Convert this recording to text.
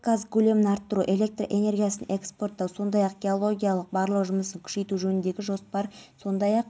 бұл туралы телеарнасы хабарлады маусым дейін герцен көшесі дүйсембаев электр желілерінен ажыратылады қала тұрғындары мен қонақтарын